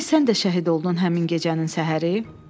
Demək sən də şəhid oldun həmin gecənin səhəri?